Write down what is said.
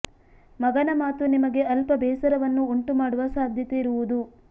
ಮಗನ ಮಾತು ನಿಮಗೆ ಅಲ್ಪ ಬೇಸರವನ್ನು ಉಂಟು ಮಾಡುವ ಸಾಧ್ಯತೆ ಇರುವುದು